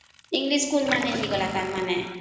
English school ତାର ମାନେ